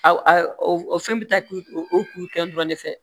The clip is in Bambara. A o fɛn bɛ taa k'u k'u kɛ dɔrɔn de fɛ